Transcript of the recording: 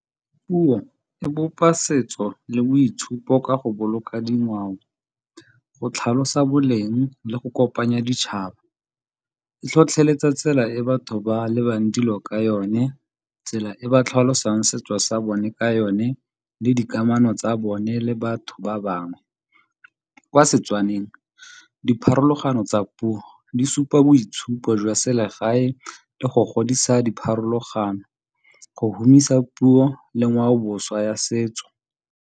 Puo e bopa setso le boitshupo ka go boloka dingwao, go tlhalosa boleng le go kopanya ditšhaba. E tlhotlheletsa tsela e batho ba lebang dilo ka yone, tsela e ba tlhalosang setso sa bone ka yone le dikamano tsa bone le batho ba bangwe. Kwa Setswaneng, dipharologano tsa puo di supa boitshupo jwa selegae le go godisa dipharologano, go humisa puo le ngwaoboswa ya setso.